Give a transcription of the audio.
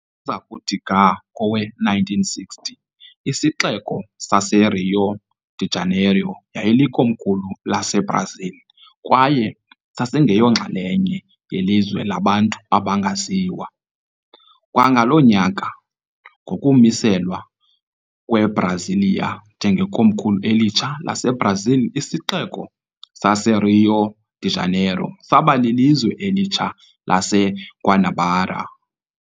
Ukuza kuthi ga kowe-1960, isixeko saseRio de Janeiro yayilikomkhulu laseBrazil kwaye sasingeyonxalenye yelizwe labantu abangaziwa. Kwangaloo nyaka, ngokumiselwa kweBrasília njengekomkhulu elitsha laseBrazil, isixeko saseRio de Janeiro saba lilizwe elitsha laseGuanabara.